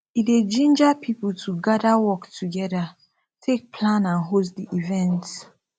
e dey ginger pipo to gather work togeda take plan and host di event